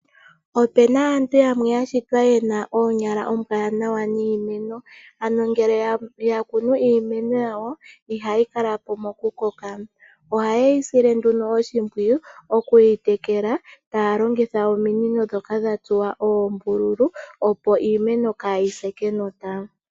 Opena aantu yamwe yashitwa yena oonyala oombwa niimeno, ano ngele yakunu iimeno yawo iha yi kalapo mokukoka. Oheyi yi sile oshimpwiyu okwiitekela taa longitha ominino ndhoka dha tsuwa oombululu opo iimeno kaayise kenota.